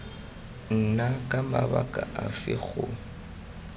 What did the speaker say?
nna ka mabaka afe go